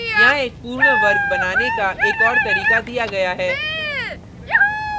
यहाँ एक पूर्ण वर्ग बनाने का एक और तरीका दिया गया है